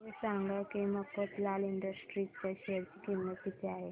हे सांगा की मफतलाल इंडस्ट्रीज च्या शेअर ची किंमत किती आहे